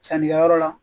Sannikɛyɔrɔ la